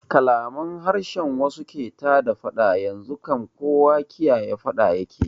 Kalaman harshen wasu ke tada faɗa, yanzu kam kowa kiyaye faɗa yake yi